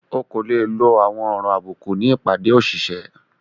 Ọ́ kò le lọ àwọn ọ̀rọ̀ àbúkù ní ìpádé òṣìṣẹ.